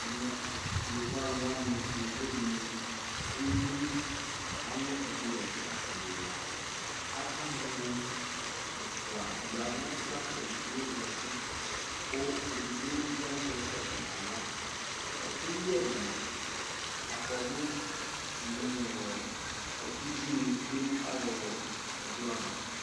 Ɛmɛ yovoaluwani yovo dini ɖu eɖini Alɛ ɛɖi ɛfua, ɛlaaakamuu ɛfua yɛvu la kedigbo ʒati kuu idigbo bi aʒɛ kɔpuu naɣla Ɛkuyɛɛni akɔɖu nii ɔɔɔɛkuɖʒini twee nu ayɛɛ ɔɔɔ ɛkplɔava